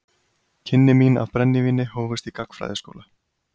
Kynni mín af brennivíni hófust í gagnfræðaskóla.